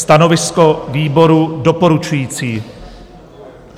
Stanovisko výboru: doporučující.